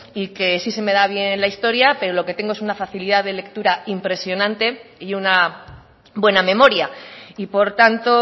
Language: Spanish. y que sí se me da bien la historia pero lo que tengo es una facilidad de lectura impresionante y una buena memoria y por tanto